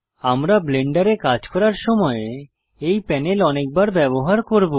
আমরা ব্লেন্ডারে কাজ করার সময় এই প্যানেল অনেকবার ব্যবহার করব